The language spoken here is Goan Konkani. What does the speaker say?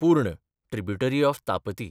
पूर्ण (ट्रिब्युटरी ऑफ तापती)